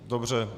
Dobře.